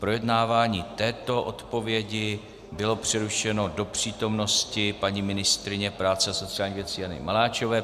Projednávání této odpovědi bylo přerušeno do přítomnosti paní ministryně práce a sociálních věcí Jany Maláčové.